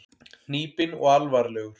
Hnípinn og alvarlegur.